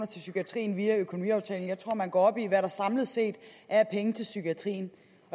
til psykiatrien via økonomiaftalen jeg tror man går op i hvad der samlet set er af penge til psykiatrien